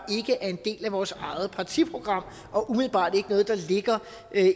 er en del af vores eget partiprogram og umiddelbart ikke er noget der ligger